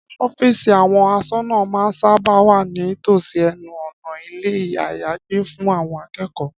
Ọ́fíìsì àwọn aṣọ́nà máa sábà ń wà ní tòsí ẹnu ọ̀nà ilé-àyágbé fún àwọn akẹ́kọ̀ọ́